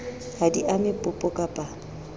ha di ame popo kappa